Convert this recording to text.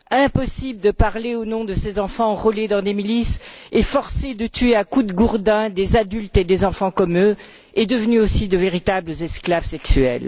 Impossible de parler au nom de ces enfants enrôlés dans des milices et forcés de tuer à coups de gourdin des adultes et des enfants comme eux, et devenus aussi de véritables esclaves sexuels.